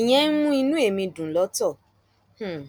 ìyẹn ń mú inú ẹmí dùn lọtọ um